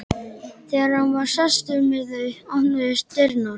Þegar hann var sestur með þau opnuðust dyrnar.